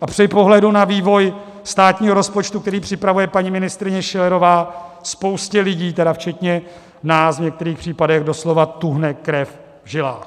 a při pohledu na vývoj státního rozpočtu, který připravuje paní ministryně Schillerová, spoustě lidí, tedy včetně nás, v některých případech doslova tuhne krev v žilách.